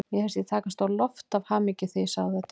Mér fannst ég takast á loft af hamingju þegar ég sagði þetta.